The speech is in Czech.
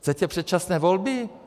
Chcete předčasné volby?